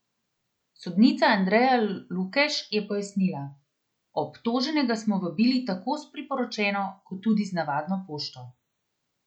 Sodnica Andreja Lukeš je pojasnila: "Obtoženega smo vabili tako s priporočeno kot tudi z navadno pošto.